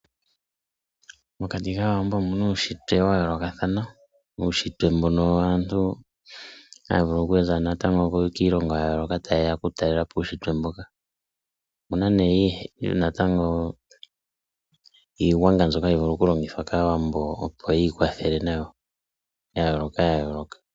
Mokati kaawambo omu na uushitwe wa yoolokathana, nuushitwe mbuno waantu haya vulu okuza natango kiilongo ya yooloka ta yeya okutalela po uushitwe mbuka. Omuna nee natango iigwanga mbyoka hayi vulu okulongithwa kaawambo opo yi kwathele nayo ya yooloka.